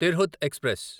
Tirhut express